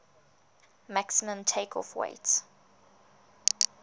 maximum takeoff weight